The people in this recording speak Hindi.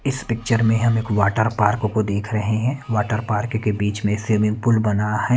इस पिक्चर में हम एक वाटर पार्क को डेक रहे है वाटर पार्क के बिच में स्विमिंग पूल बना है।